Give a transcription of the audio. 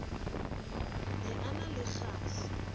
ne a na le kgahla